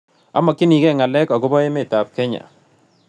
Amogyinig'ee ng'alek agobo emetap kenya